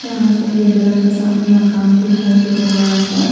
यहां सफेद रंग का सामने मकान दिखाई दे रहा है बड़ा सा।